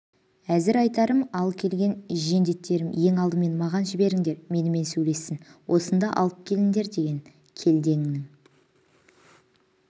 әзір айтарым ал келген жендетерін ең алдымен маған жіберіңдер менімен сөйлессін осында алып келіндер деген келденнің